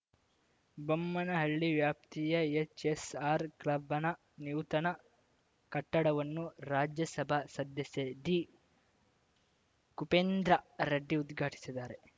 ಬೊಮ್ಮನಹಳ್ಳಿ ವ್ಯಾಪ್ತಿಯ ಎಚ್‌ಎಸ್‌ಆರ್‌ ಕ್ಲಬ್‌ನ ನೂತನ ಕಟ್ಟಡವನ್ನು ರಾಜ್ಯಸಭಾ ಸದಸ್ಯ ಡಿಕುಪೇಂದ್ರ ರೆಡ್ಡಿ ಉದ್ಘಾಟಿಸಿದ್ದಾರೆ